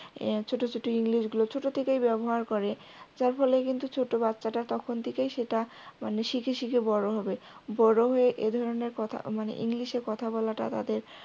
ছোট ছোট english গুলো ছোট থেকেই ব্যবহার করে যার ফলে কিন্তু ছোট বাচ্চাটা তখন থেকেই সেটা মানে শিখে শিখে বড় হবে বড় হয়ে এ ধরনের কথা মানে english এ কথা বলাটা তাদের